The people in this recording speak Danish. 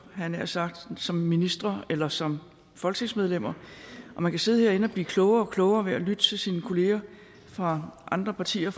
jeg nær sagt som ministre eller som folketingsmedlemmer og man kan sidde herinde og blive klogere og klogere ved at lytte til sine kollegaer fra andre partier